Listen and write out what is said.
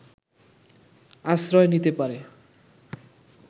আশ্রয় নিতে পারে